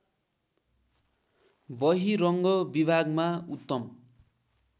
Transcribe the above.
बहिरङ्ग विभागमा उत्तम